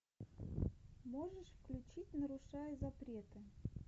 можешь включить нарушая запреты